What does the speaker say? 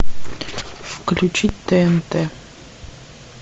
включить тнт